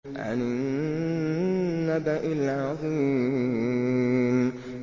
عَنِ النَّبَإِ الْعَظِيمِ